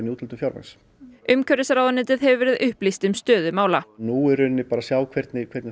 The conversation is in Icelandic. úthlutun fjármagns umhverfisráðuneytið hefur verið upplýst um stöðu mála nú er bara að sjá hvernig hvernig